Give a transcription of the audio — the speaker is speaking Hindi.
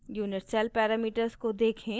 unit cell parameters को देखें